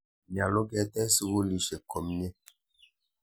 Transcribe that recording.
Nyalu ketech sukulisyek komnye.